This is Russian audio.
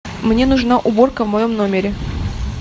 мне нужна уборка в моем номере